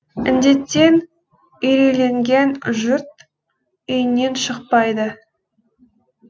індеттен үйрейленген жұрт үйінен шықпайды